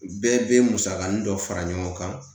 Bɛɛ bɛ musakanin dɔ fara ɲɔgɔn kan